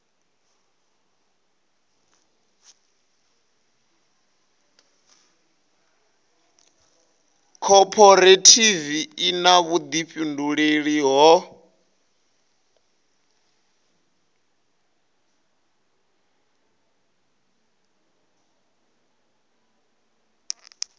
khophorethivi i na vhuḓifhinduleli ho